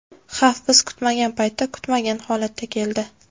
Xavf biz kutmagan paytda, kutmagan holatda keldi.